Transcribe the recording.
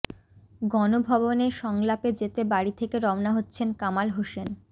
গণভবনে সংলাপে যেতে বাড়ি থেকে রওনা হচ্ছেন কামাল হোসেন